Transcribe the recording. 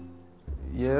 ég er